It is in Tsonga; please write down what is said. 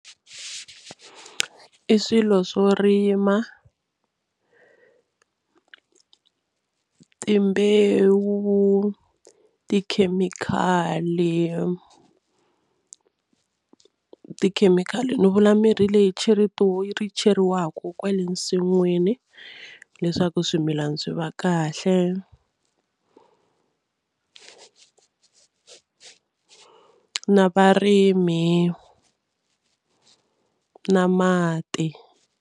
I swilo swo rima timbewu, tikhemikhali tikhemikhali ni vula mirhi leyi cheriwaku kwale nsin'wini leswaku swimilana swi va kahle na varimi na mati.